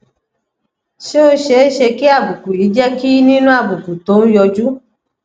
ṣé ó ṣeé ṣe kí àbùkù yìí jẹ kí nínú àbùkù tó ń yọjú